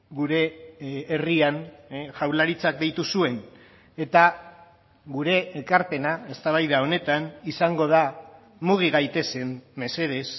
gure herrian jaurlaritzak deitu zuen eta gure ekarpena eztabaida honetan izango da mugi gaitezen mesedez